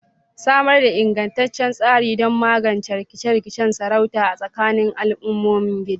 Samar da ingantaccen tsari don magance rikice-rikicen sarauta a tsakanin al'ummomin gida.